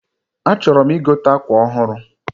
A chọrọm igote akwa ọhụrụ